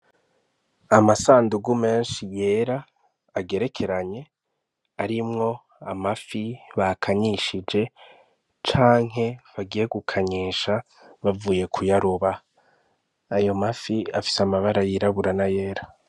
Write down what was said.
Amasandugu menshi yera agerekeranye arimwo amafi bakanyishije canke bagiye gukanyisha bavuye kuyaroba ayo mafi afise amabara yirabura n'ayera.